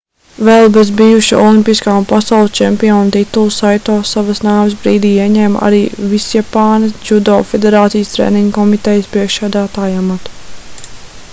vēl bez bijuša olimpiskā un pasaules čempiona titula saito savas nāves brīdī ieņēma arī visjapānas džudo federācijas treniņu komitejas priekšsēdētāja amatu